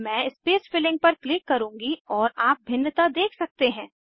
मैं space filling पर click करुँगी और आप भिन्नता देख सकते हैं